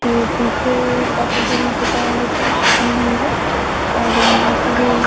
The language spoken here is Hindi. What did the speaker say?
के पीछे काफी जगह कुछ की गई है और यहां पर --